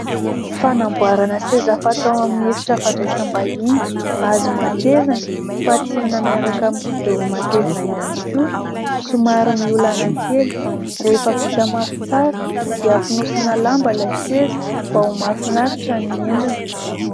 Fanamboarana seza fatao amin'ny efitra fandraisam-bahiny, hazo matevina fatsihana miaraka amin'ny kidoro matevina ihany koa, somary miolana kely, rehefa vita mafy tsara dia fonosina lamba ilay seza mba ho mahafinaritra ny endriny.